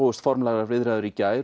hófust formlegar viðræður í gær